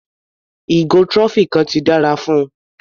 Ìgò trophy kan ti dára fún un.